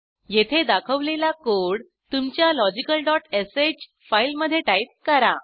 येथे दाखवलेला कोड तुमच्या logicalश फाईलमधे टाईप करा